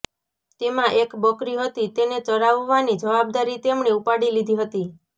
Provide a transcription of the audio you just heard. તેમાં એક બકરી હતી તેને ચરાવવાની જવાબદારી તેમણે ઉપાડી લીધી હતી